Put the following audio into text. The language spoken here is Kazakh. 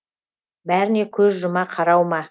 бәріне көз жұма қарау ма